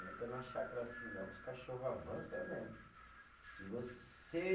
Não entra na chácara assim não, que os cachorro avança mesmo, se você